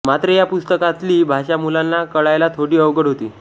मात्र या पुस्तकातली भाषा मुलांना कळायला थोडी अवघडच होती